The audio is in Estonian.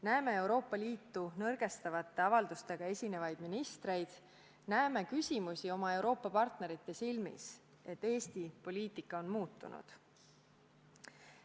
Näeme Euroopa Liitu nõrgestavate avaldustega esinevaid ministreid, näeme küsimusi oma Euroopa partnerite silmis selle kohta, et Eesti poliitika on muutunud.